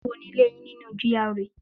Níbo ni ilé yín nínú GRA